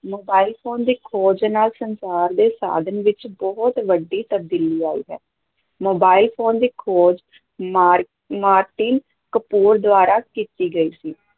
Mobile phone ਦੀ ਖੋਜ ਨਾਲ਼ ਸੰਚਾਰ ਦੇ ਸਾਧਨ ਵਿੱਚ ਬਹੁਤ ਵੱਡੀ ਤਬਦੀਲੀ ਆਈ ਹੈ, ਮੋਬਾਈਲ ਫ਼ੋਨ ਦੀ ਖੋਜ ਮਾ ਮਾਰਟੀਨ ਕਪੂਰ ਦੁਆਰਾ ਕੀਤੀ ਗਈ ਸੀ।